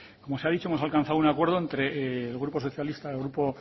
como se ha dicho hemos alcanzado un acuerdo entre el grupo socialista el grupo